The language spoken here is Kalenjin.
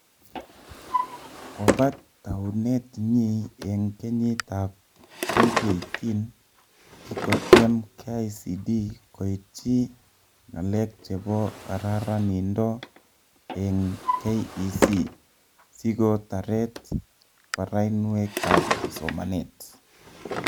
Kobat taunet nyi eng kenyit ab 2018, kikotiem KICD koitchi ng'alek chebo kararanindo eng KEC sikotaret barainwek ab somanet